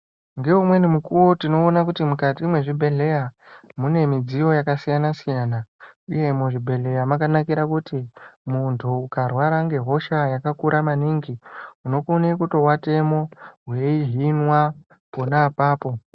Ngeumweni mukuwo tinoona kuti mukati mwezvibhedhleya mune midziyo yakasiyana siyana uye muzvibhedhlera mwakanakira kuti muntu ukarwara ngehosha yakakura maningi unokone kuto atemwo weihimwa pona apapo.